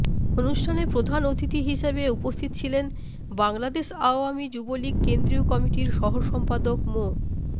অনুষ্ঠানে প্রধান অতিথি হিসেবে উপস্থিত ছিলেন বাংলাদেশ আওয়ামী যুবলীগ কেন্দ্রীয় কমিটির সহ সম্পাদক মো